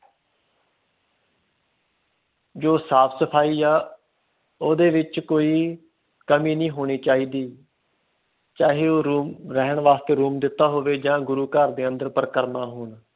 ਜੋ ਸਾਫ ਸਫਾਈ ਆ ਓਹਦੇ ਵਿਚ ਕੋਈ ਕਮੀ ਨਹੀਂ ਹੋਣੀ ਚਾਹੀਦੀ ਚਾਹੇ ਉਹ ਰਹਿਣ ਦੇ ਵਾਸਤੇ ਦਿੱਤਾ ਹੋਵੇ ਆ ਗੁਰੂ ਘਰ ਦੇ ਅੰਦਰ ਪਰਿਕਰਮਾ ਹੋਣ